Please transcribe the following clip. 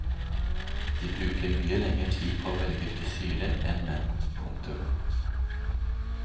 De bruker mye lenger tid på å velge frisyre enn menn. punktum